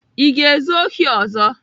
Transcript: Ị ga-ezu ohi ọzọ?